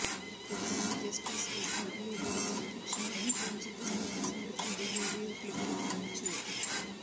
തുടര്ന്ന് justice S Muralidhar അദ്ധ്യക്ഷനായ bench തന്നെ പ്രസംഗത്തിന്റെ വീഡിയോ ക്ലിപ്പ് കാണിച്ചു